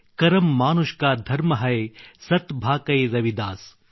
ಕರ್ಮ್ ಮಾನವ ಕಾ ಧರ್ಮ ಹೈ ಸತ್ ಭಾಖೌ ರವಿದಾಸ್